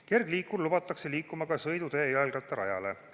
Kergliikur lubatakse liikuma ka sõidutee jalgrattarajale.